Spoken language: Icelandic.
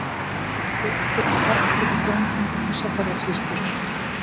Réttur er settur í dómþingi Ísafjarðarsýslu!